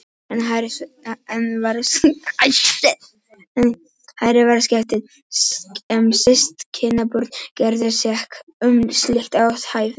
Enn hærri var sektin ef systkinabörn gerðust sek um slíkt athæfi.